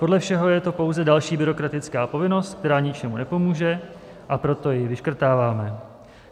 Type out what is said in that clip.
Podle všeho je to pouze další byrokratická povinnost, která ničemu nepomůže, a proto ji vyškrtáváme.